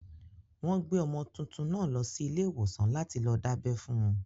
Wọ́n gbé ọmọ tuntun náà lọ sí ilé ìwòsàn láti lọ dábẹ́ fún